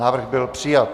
Návrh byl přijat.